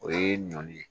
O ye ɲɔn ye